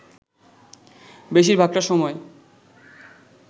বেশির ভাগটা সময়